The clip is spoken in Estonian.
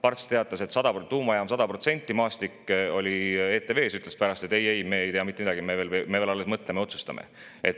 Parts teatas, et tuumajaam, 100%, Maastik oli ETV‑s ja ütles, et ei-ei, me ei tea mitte midagi, me veel alles mõtleme ja otsustame.